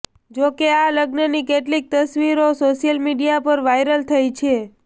જોકે આ લગ્નની કેટલીક તસવીરો સોશિયલ મીડિયા પર વાયરલ થઈ છે